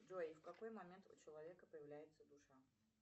джой в какой момент у человека появляется душа